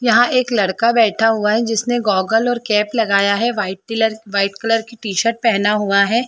यहाँ एक लड़का बैठा हुआ है जिसने गोगल और कैप लगाया है वाइट कलर वाइट कलर की टी-शर्ट पहना हुआ है।